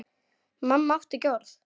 Mamma átti ekki orð.